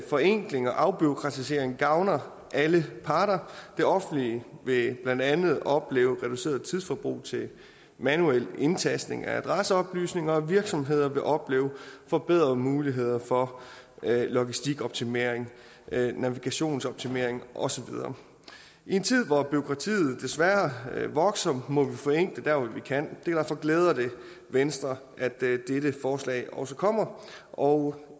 forenkling og afbureaukratisering gavner alle parter det offentlige vil blandt andet opleve reduceret tidsforbrug til manuel indtastning af adresseoplysninger og virksomheder vil opleve forbedrede muligheder for logistikoptimering navigationsoptimering og så videre i en tid hvor bureaukratiet desværre vokser må vi forenkle dér hvor vi kan derfor glæder det venstre at dette forslag også kommer og